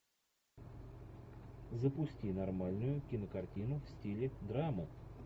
запусти нормальную кинокартину в стиле драмы